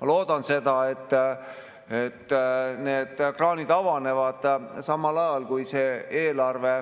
Ma loodan seda, et need kraanid avanevad samal ajal, kui see eelarve